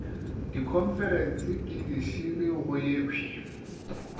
dikhonferense ke dišele go yekhwi